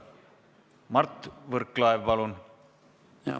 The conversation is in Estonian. Mart Võrklaev, palun!